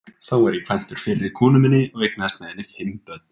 Þá var ég kvæntur fyrri konu minni og eignaðist með henni fimm börn.